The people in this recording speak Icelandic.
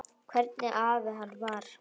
Hvernig afi hann var.